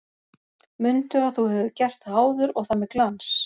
Mundu að þú hefur gert það áður og það með glans!